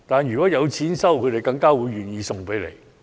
如果有錢收，他們更加會願意拿去回收。